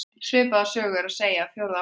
Svipaða sögu er að segja af fjórða áratugnum.